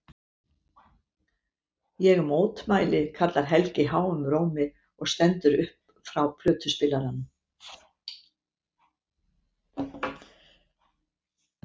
Ég mótmæli, kallar Helgi háum rómi og stendur upp frá plötuspilaranum.